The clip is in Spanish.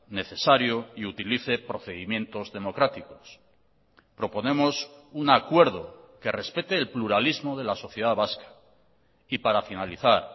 necesario y utilice procedimientos democráticos proponemos un acuerdo que respete el pluralismo de la sociedad vasca y para finalizar